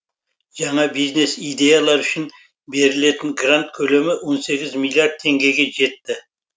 жаңа бизнес идеялар үшін берілетін грант көлемі он сегіз миллиард теңгеге жетті